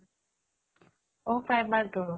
অ primer টো?